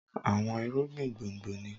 Àwọn irúgbìn gbòǹgbò ni